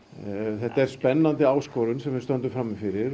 þetta er spennandi áskorun sem við stöndum frammi fyrir